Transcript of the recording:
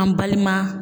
An balima